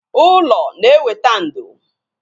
Ụlọ na-eweta ndo